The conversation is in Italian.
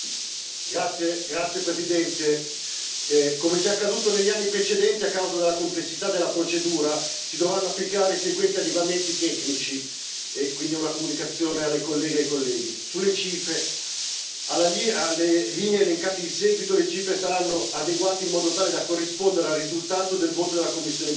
Signor Presidente, onorevoli colleghi, come già accaduto negli anni precedenti, a causa della complessità della procedura, si dovranno applicare i seguenti adeguamenti tecnici. È quindi una comunicazione alle colleghe e colleghi. Sulle cifre alle linee elencate in seguito le cifre saranno adeguate in modo tale da corrispondere al risultato del voto della commissione